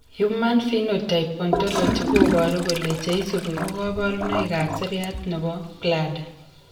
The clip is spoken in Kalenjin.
Human Phenotype Ontology koboru kole cheisubi ko kabarunoik ab seriat nebo bladder